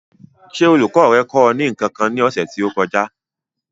Ṣé olùkọ́ rẹ kọ́ ọ ní nǹkan kan ní ọ̀sẹ̀ tí ó kọjá?